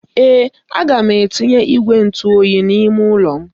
Mba, aga m etinye igwe ntụ oyi n'ime ụlọ m.